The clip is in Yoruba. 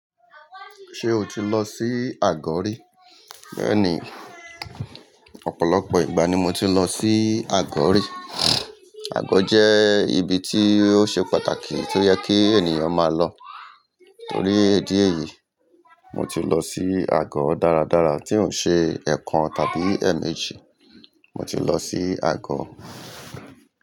Ṣé o ti lọ sí àgọ̀ rí? Bẹ́ẹ̀ni, ọ̀pọ̀lọpọ̀ ìgbà ni mo ti lọ sí àgọ̀ rí. Àgọ̀ jẹ́ ibi tí ó ṣe pàtàkì tó yẹ kí ènìyàn máa lọ. Torí idi eyí, mo ti lọ sí àgọ̀ dáradára tí ò n ṣe ẹ̀ekan tàbí eemeji. Mo ti lọ sí àgọ̀.